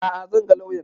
A'a zan ga lauyan